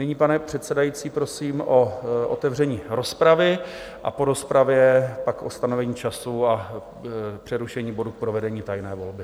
Nyní, pane předsedající, prosím o otevření rozpravy a po rozpravě pak o stanovení času a přerušení bodu k provedení tajné volby.